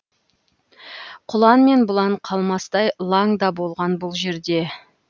құлан мен бұлан қалмастай лаң да болған бұл жерде